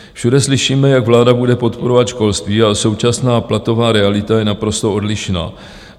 Všude slyšíme, jak vláda bude podporovat školství, ale současná platová realita je naprosto odlišná.